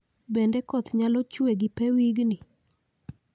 Bende koth nyalo chwe gi pee wigni